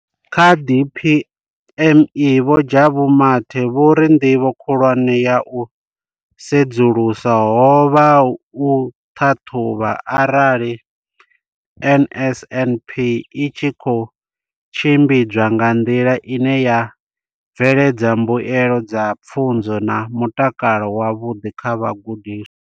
Kha DPME vho Jabu Mathe vho ri ndivho khulwane ya u sedzulusa ho vha u ṱhaṱhuvha arali NSNP i tshi khou tshimbidzwa nga nḓila ine ya bveledza mbuelo dza pfunzo na mutakalo wavhuḓi kha vhagudiswa.